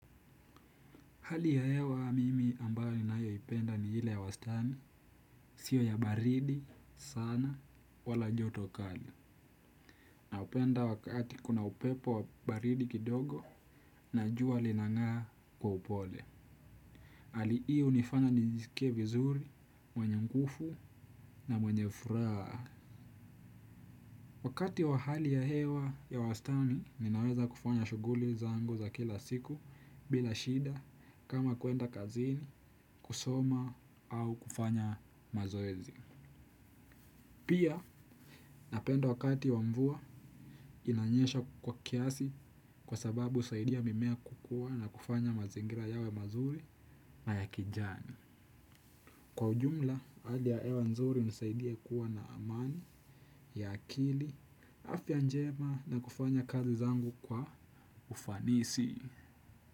Hali ya hewa mimi ambayo nayoipenda ni hile ya wastani, sio ya baridi, sana, wala jotokali. Na upenda wakati kuna upepo wa baridi kidogo, na juwa linangaa kwa upole. Hali iyo unifanya nijisikie vizuri, mwenye nkufu na mwenye furaha. Wakati wahali ya hewa ya wastani, ninaweza kufanya shuguli zangu za kila siku bila shida kama kuenda kazini, kusoma au kufanya mazoezi. Pia, napenda wakati wamvua inanyesha kwa kiasi kwa sababu usaidia mimea kukua na kufanya mazingira yawe mazuri na ya kijani. Kwa ujumla, alia ewa nzuri unisaidia kuwa na amani, ya akili, hafia njema na kufanya kazi zangu kwa ufanisi.